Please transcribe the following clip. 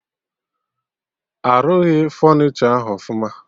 Arụghị fọnichọ ahụ ọfụma